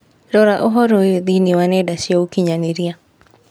Rora ũhoro ũyũ thĩinĩ wa nenda cia ũkĩnyaniria